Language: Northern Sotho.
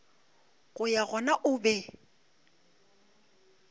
go ya gona o be